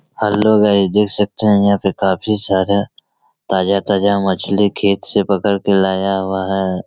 Hello guys देख सकते है यहाँ पर काफी सारा ताज़ा-ताज़ा मछली खेत से पकड़ के लाया हुआ है।